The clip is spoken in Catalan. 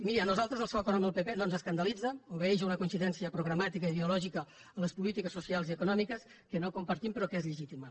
miri a nosaltres el seu acord amb el pp no ens escandalitza obeeix a una coincidència programàtica i ideològica en les polítiques socials i econòmiques que no compartim però que és legítima